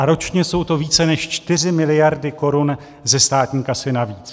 A ročně jsou to více než 4 miliardy korun ze státní kasy navíc.